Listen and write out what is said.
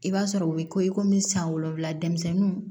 I b'a sɔrɔ u bɛ ko i komi san wolonwula denmisɛnninw